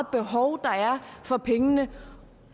behov der er for pengene